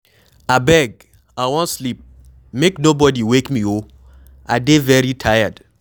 Abeg I wan sleep. Make no body wake me oo. I dey very tired.